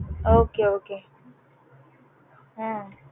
okay okay um